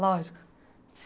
Lógico.